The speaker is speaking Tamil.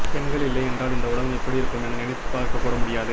பெண்கள் இல்லையென்றால் இந்த உலகம் எப்படி இருக்கும் என நினைத்து பார்க்க கூட முடியாது